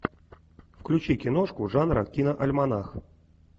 включи киношку жанра киноальманах